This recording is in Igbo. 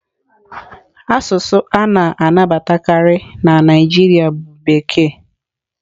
Asụsụ a na-anabatakarị na Naịjirịa bụ Bekee.